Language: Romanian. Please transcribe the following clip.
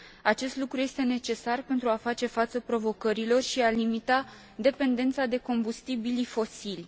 Acest lucru este necesar pentru a face față provocărilor și a limita dependența de combustibilii fosili.